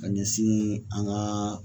Ka ɲɛsin an ka